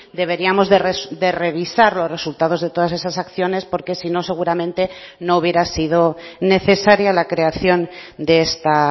deberíamos de revisar los resultados de todas esas acciones porque si no seguramente no hubiera sido necesaria la creación de esta